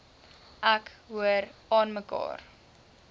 ek hoor aanmekaar